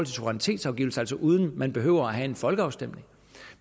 suverænitetsafgivelse altså uden at man behøver at have en folkeafstemning